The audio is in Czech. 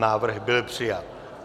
Návrh byl přijat.